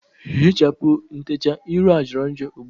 Hichapụ ntechaa ịrụ a jọrọ njọ ugbua!